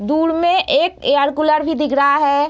दूड़ में एक air cooler भी दिख रहा है।